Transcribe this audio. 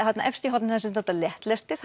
þarna efst í horninu þar sem stendur léttlestir